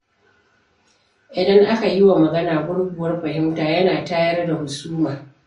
Idan aka yiwa magana gurguwar fahimta yana tayar da husuma.